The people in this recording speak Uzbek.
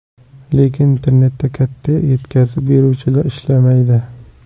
Lekin internetda katta yetkazib beruvchilar ishlamaydi.